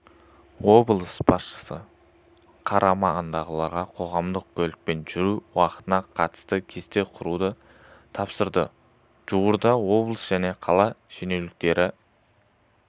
облыс басшысы қарамағындағылардың қоғамдық көлікпен жүру уақытына қатысты кесте құруды тапсырды жуырда облыс және қала шенеуніктері